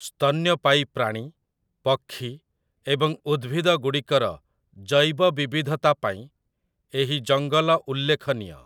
ସ୍ତନ୍ୟପାୟୀ ପ୍ରାଣୀ, ପକ୍ଷୀ ଏବଂ ଉଦ୍ଭିଦଗୁଡ଼ିକର ଜୈବ ବିବିଧତା ପାଇଁ ଏହି ଜଙ୍ଗଲ ଉଲ୍ଲେଖନୀୟ ।